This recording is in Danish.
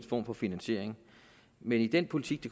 form for finansiering men i den politik